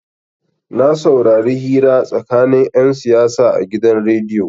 Na saurari hira tsakanin 'yan siyasa a gidan rediyo.